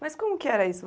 Mas como que era isso,